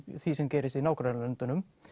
því sem gerist í nágrannalöndunum